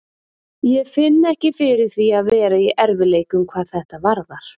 Ég finn ekki fyrir því að vera í erfiðleikum hvað þetta varðar.